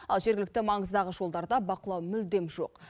ал жергілікті маңыздағы жолдарда бақылау мүлдем жоқ